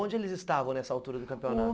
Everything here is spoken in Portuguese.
Onde eles estavam nessa altura do campeonato?